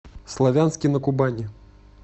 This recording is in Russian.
славянске на кубани